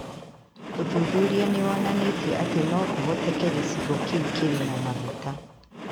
ũthuthuria nĩ wonanĩtie atĩ no kũhoteke gĩcigo kĩu kĩrĩ na maguta.